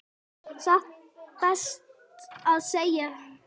Satt best að segja.